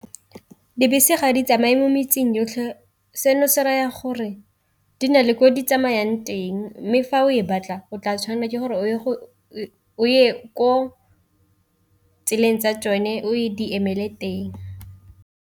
Dibese ga di tsamaye mo metseng yotlhe seno se raya gore di na le ko di tsamayang teng, mme fa o e batla o tla tshwanela ke gore o ye ko tseleng tsa tsone o e di emele teng.